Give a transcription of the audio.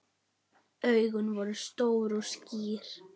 Augun voru stór og skýr.